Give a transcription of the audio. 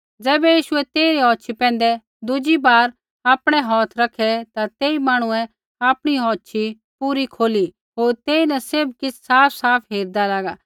ज़ैबै यीशुऐ तेइरी औछ़ी पैंधै दुज़ी बार आपणै हौथ रैखै ता तेई मांहणुऐ आपणी औछ़ी पूरी खोली होर तेईन सैभ किछ़ साफसाफ हेरिदा लागा